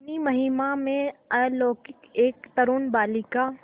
अपनी महिमा में अलौकिक एक तरूण बालिका